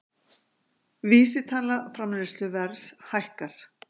Vísitala framleiðsluverðs hækkar